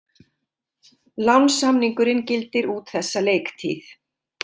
Lánssamningurinn gildir út þessa leiktíð.